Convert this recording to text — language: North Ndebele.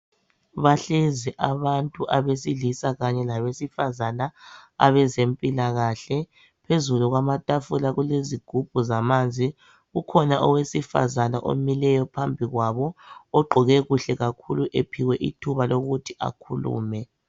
Bahlezi abantu abesilisa kanye labesifazana abezempilakahle phezulu kwamatafula kulezigubhu zamanzi ukhona owesifazana omileyo phambikwabo ogqoke kuhle kakhulu emphiwe ithuba lokuthi akhulume.